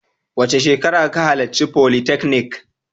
Wace shekara ka halarci folytechnic?